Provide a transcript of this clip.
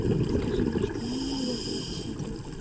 скажи мне что именно я туда посмотрю